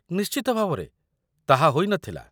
ନିଶ୍ଚିତ ଭାବରେ, ତାହା ହୋଇନଥିଲା